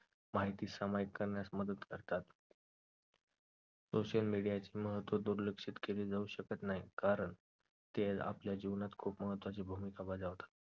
माहिती समईकांना मदत करतात social media चे महत्व दुर्लक्षा केले जाऊ शकत नाही तर ते आपल्या जीवनात खूप महत्वाची भूमिका बजावतात